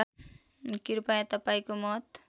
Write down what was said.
कृपया तपाईँको मत